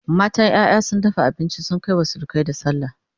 matan ƴaƴa sun dafa abinci sun Kai wa surukai da sallah